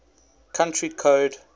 country code